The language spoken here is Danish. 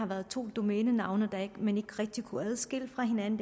været to domænenavne man ikke rigtig kunne adskille fra hinanden